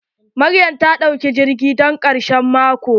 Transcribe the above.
Maryam ta ɗauka jirgi zuwa kano don ƙarshen mako.